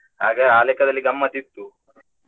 ಹಾಗೆ ಆ ಲೆಕ್ಕದಲ್ಲಿ ಗಮ್ಮತ್ತ್ ಇತ್ತು.